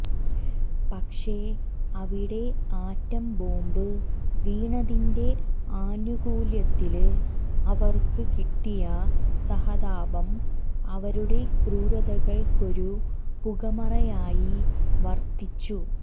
പക്ഷെ അവിടെ ആറ്റംബോംബ് വീണതിന്റെ ആനുകൂല്യത്തില് അവർക്ക് കിട്ടിയ സഹതാപം അവരുടെ ക്രൂരതകൾക്കൊരു പുകമറയായി വർത്തിച്ചു